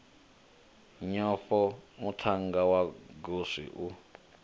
nyofho muthannga wa goswi u